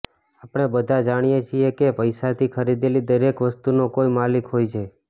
આપણે બધા જાણીએ છીએ કે પૈસાથી ખરીદેલી દરેક વસ્તુનો કોઈ માલિક હોય છે